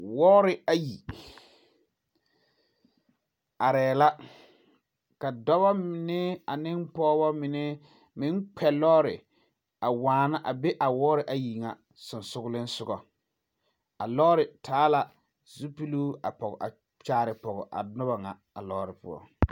Wɔɔre ayi arɛɛ la ka dɔba mine ane pɔgebɔ mine meŋ kpɛ lɔɔre waana be a wɔɔre soŋsogliŋ a lɔɔre taa la zupeluu a kyaare pɔg a lɔɔre nyɛ.